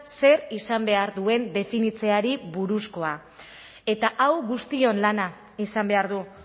zer izan behar duen definitzeari buruzkoa eta hau guztion lana izan behar du